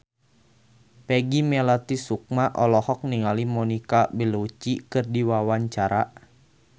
Peggy Melati Sukma olohok ningali Monica Belluci keur diwawancara